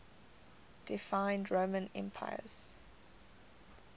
deified roman emperors